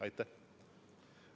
Aitäh!